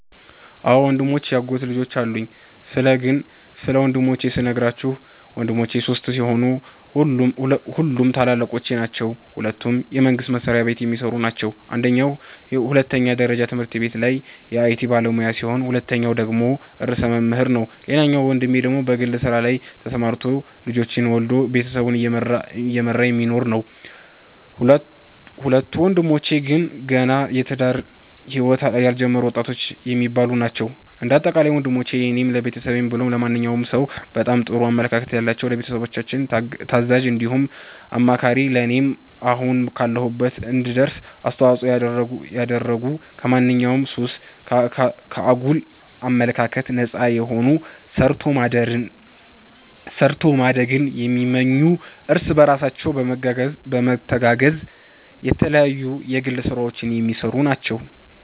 አዎ ወንድሞችም ያጎት ልጆችም አሉኝ ስለ ግን ስለ ወንድሞቼ ስነግራችሁ ወንድሞቼ ሶስት ሲሆኑ ሁሉም ታላላቆቼ ናቸዉ ሁለቱ የመንግስት መስሪያቤት የሚሰሩ ናቸው አንደኛዉ ሁለተኛ ደረጃ ትምህርት ቤት ላይ የአይቲ ባለሙያ ሲሆን ሁለተኛዉ ደግሞ ርዕሰ መምህር ነዉ ሌላኛዉ ወንድሜ በግል ስራ ላይ ተሰማርቶ ልጆች ወልዶ ቤተሰቡን እየመራ የሚኖር ነዉ። ሁለቱ ወንድሞቼ ግን ገና የትዳር ህይወት ያልጀመሩ ወጣቶች የሚባሉ ናቸዉ። እንደ አጠቃላይ ወንሞቼ ለኔም ለቤተሰብም ብሎም ለማንኛዉም ሰዉ በጣም ጥሩ አመለካከት ያላቸዉ፣ ለቤተሰቦቻችን ታዛዥ እንዲሁም አማካሪ ለኔም አሁን ካለሁበት እንድደርስ አስተዋፅኦን ያደረጉ ከማንኛዉም ሱስ፣ ከአጉል አመለካከት ነፃ የሆኑ ሰርቶ ማደግን የሚመኙ እርስ በርሳቸው በመተጋገዝ የተለያዩ የግል ስራዎች የሚሰሩ ናቸዉ።